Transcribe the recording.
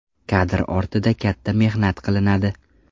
Kadr ortida katta mehnat qilinadi.